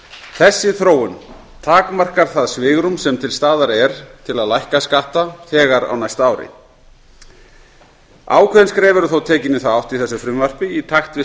þessi þróun takmarkar það svigrúm sem til staðar er til að lækka skatta þegar á næsta ári ákveðin skref eru þó tekin í þá átt í þessu frumvarpi í takt við